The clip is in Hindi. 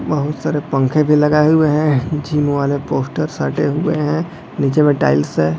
बहुत सारे पंखे भी लगाए हुए हैं जिम वाले पोस्टर सटे हुए हैं नीचे में टाइल्स है ।